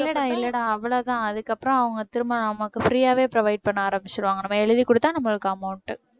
இல்லடா இல்லடா அவ்வளவுதான் அதுக்கு அப்புறம் அவங்க திரும்ப நமக்கு free ஆவே provide பண்ண ஆரம்பிச்சிடுவாங்க நம்ம எழுதிக் கொடுத்தா நம்மளுக்கு amount